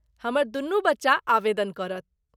हमर दुनू बच्चा आवेदन करत।